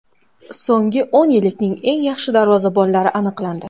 So‘nggi o‘n yillikning eng yaxshi darvozabonlari aniqlandi.